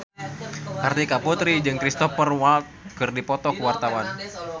Kartika Putri jeung Cristhoper Waltz keur dipoto ku wartawan